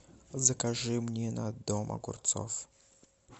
закажи мне на дом огурцов